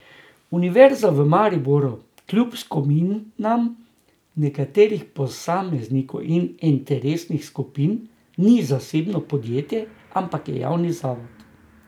Univerza v Mariboru kljub skominam nekaterih posameznikov in interesnih skupin ni zasebno podjetje, ampak je javni zavod.